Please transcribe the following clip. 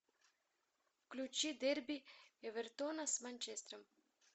включи дерби эвертона с манчестером